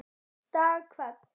dag hvern